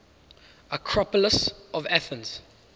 acropolis of athens